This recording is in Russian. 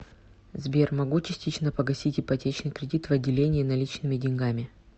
сбер могу частично погасить ипотечный кредит в отделении наличными деньгами